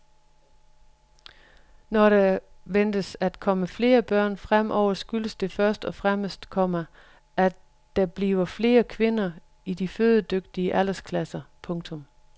Når der ventes at komme flere børn fremover skyldes det først og fremmest, komma at der bliver flere kvinder i de fødedygtige aldersklasser. punktum